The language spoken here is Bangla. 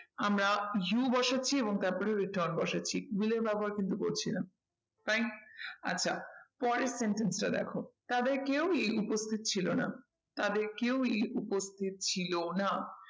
আমরা you বসাচ্ছি এবং তারপরে return বসাচ্ছি will এর ব্যবহার কিন্তু করছি না। fine আচ্ছা পরের sentence টা দেখো তাদের কেউই উপস্থিত ছিল না, তাদের কেউই উপস্থিত ছিল না